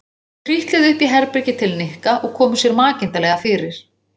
Þau trítluðu upp í herbergi til Nikka og komu sér makindalega fyrir.